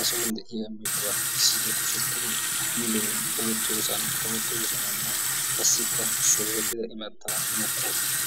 asoon de'iyaa metuwaa issippe kushettidi mulee oottoosona, oottoosonanne qassikka soon uttida immata mookkosona.